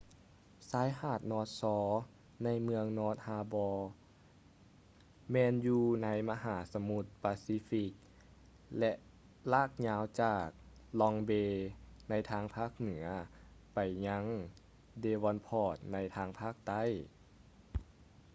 ຊາຍຫາດ north shore ໃນເມືອງ north harbor ແມ່ນຢູ່ໃນມະຫາສະໝຸດປາຊີຟິກ ແລະ ລາກຍາວຈາກ long bay ໃນທາງພາກເໜືອໄປຍັງ devonport ໃນທາງພາກໃຕ້